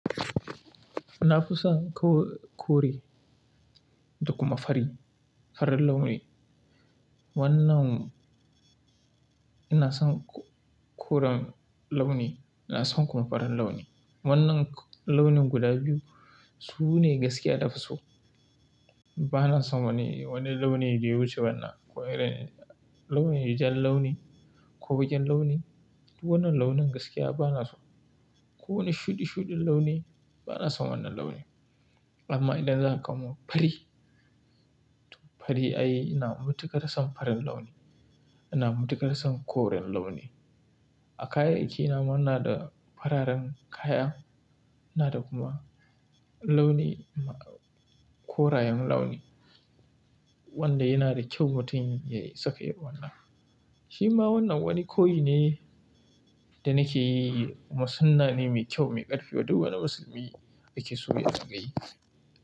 Na fison ko kore da kuma fari, farin launi. Wannan ina son koren launi, ina son kuma farin launi. Wannan launin guda biyu sune gaskiya na fi so. Bana son wani, wani launi da ya wuce wannan. Ko irin launin jan launi ko baƙin launi, duk wannan launin gaskiya bana so. Ko wani shuɗi shuɗin launi bana son wannan launin. Amma idan zaka kawo min fari, fari ai ina matuƙar son farin launi. Ina matuƙar son koren launi. A kayayya ki nama ina da fararen kaya, ina da kuma launi korayen launi wanda yana da kyau mutun yayi saka irin wannan. Shi ma wannan wani koyi ne da nake yi. Kuma sunnah ne mai kyau mai ƙarfi wadda duk wani musulmi yake so ya dingayi.